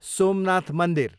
सोमनाथ मन्दिर